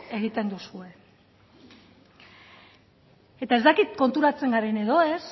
egiten duzue eta ez dakit konturatzen garen edo ez